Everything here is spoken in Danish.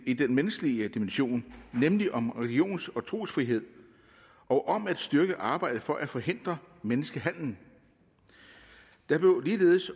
i den menneskelige dimension nemlig om religions og trosfrihed og om at styrke arbejdet for at forhindre menneskehandel der blev ligeledes